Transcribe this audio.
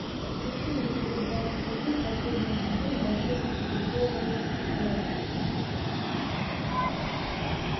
включи мне эпизод двадцать один последнего сезона волшебники из вэйверли плэйс